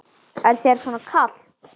Er þér svona kalt?